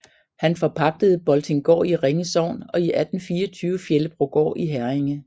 Han forpagtede Boltinggaard i Ringe Sogn og i 1824 Fjellebrogård i Herringe